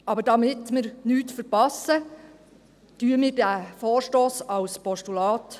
Damit wir aber nichts verpassen, überweisen wir den Vorstoss als Postulat.